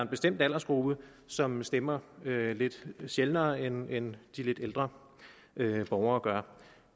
bestemt aldersgruppe som stemmer lidt sjældnere end end de lidt ældre borgere gør